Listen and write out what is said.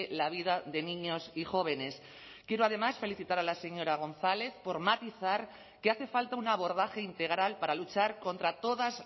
la vida de niños y jóvenes quiero además felicitar a la señora gonzález por matizar que hace falta un abordaje integral para luchar contra todas